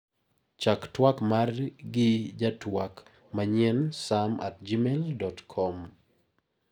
Chak tuak mara gi jatuak manyien sam@gmail.com.